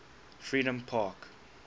freedompark